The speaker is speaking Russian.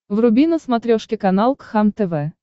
вруби на смотрешке канал кхлм тв